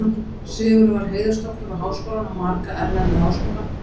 Sigurður var heiðursdoktor við Háskólann og marga erlenda háskóla.